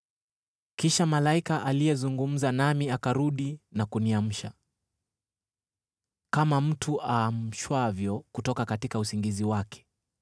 Kisha malaika aliyezungumza nami akarudi na kuniamsha, kama mtu aamshwavyo kutoka usingizi wake.